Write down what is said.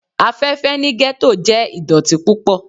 Afẹfẹ ni ghetto jẹ idọti pupọ